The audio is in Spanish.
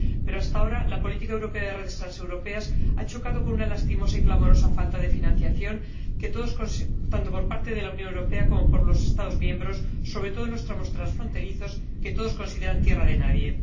Pero, hasta ahora, la política europea de redes transeuropeas ha chocado con una lastimosa y clamorosa falta de financiación, tanto por parte de la Unión Europea como por los Estados miembros, sobre todo en los tramos transfronterizos, que todos consideran tierra de nadie.